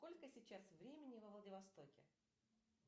сколько сейчас времени во владивостоке